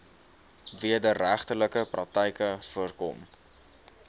wederregtelike praktyke voorkom